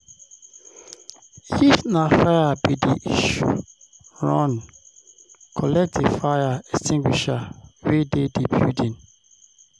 if na fire be di issue, run collect di fire extingusher wey dey di building